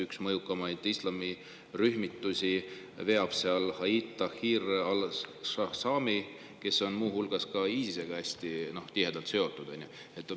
Üht mõjukaimat islamirühmitust seal veab Hayat Tahrir al-Sham, kes on muu hulgas ka ISIS-ega hästi tihedalt seotud.